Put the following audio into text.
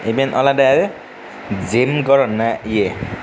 eben olodey gym gorenney ye.